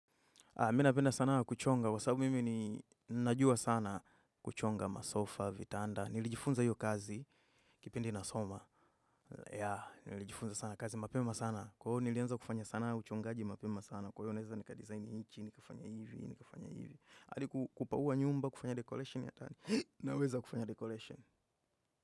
Mi napenda sana kuchonga, kwasabu mimi najua sana kuchonga masofa, vitanda, nilijifunza hiyo kazi, kipindi nasoma. Ya, nilijifunza sana kazi, mapema sana. Kwa nilianza kufanya sana uchongaji, mapema sana. Kwa iyo naeza nika design ichi, nikafanya hivi, nikafanya hivi. Adi kupauwa nyumba, kufanya decoration ya tani, naweza kufanya decolation.